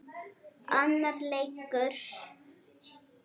Annar leikur